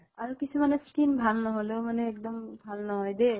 আৰু কিছুমানে skin ভাল নহলেও মানে এক্দম ভাল নহয় দেই ।